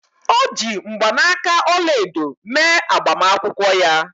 O ji mgbanaka ọla edo mee agbamakwụkwọ ya